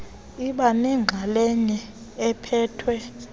iba nenxalenye ephethwe